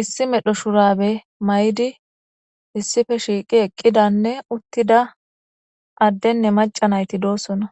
issi medho shurabe may7di issife shiiqi eqqidanne uttida addenne macanayti doosona.